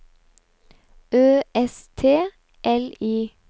Ø S T L I